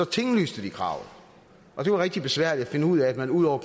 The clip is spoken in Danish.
tinglyste kravet og det var rigtig besværligt at finde ud af at man ud over